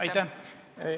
Aitäh!